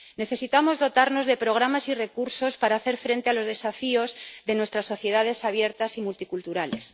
Necesitamos dotarnos de programas y recursos para hacer frente a los desafíos de nuestras sociedades abiertas y multiculturales.